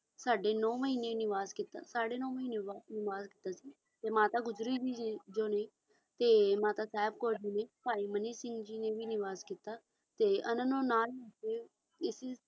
ਸਾਢੇ ਨੌ ਮਹੀਨੇ ਨਿਵਾਸ ਕੀਤਾ ਤੇ ਨੌ ਮਹੀਨੇ ਨਿਵਾਸ ਕਰ ਕੇ ਤੇ ਮਾਤਾ ਗੁਜਰੀ ਵੀ ਜੀ ਹੈ ਤੇ ਮਾਤਾ ਸਾਹਿਬ ਕੌਰ ਜੀ ਨੇ ਭਾਈ ਮਨੀ ਸਿੰਘ ਜੀ ਨੇ ਵੀ ਨਿਵਾਸ ਕੀਤਾ